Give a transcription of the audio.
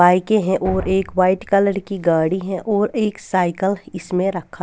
बाईकें हैं और एक व्हाइट कलर की गाड़ी है और एक साइकल इसमें रखा--